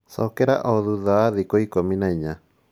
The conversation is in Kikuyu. Cokera o thutha wa thikũ ikũmi na inya